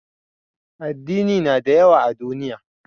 Addini na da yawa a duniya